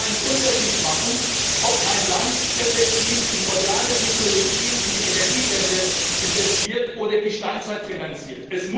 Es muss einen Unterschied machen, ob ein Land effektiv in moderne Technologien, in die Energiewende investiert oder die Steinzeit finanziert.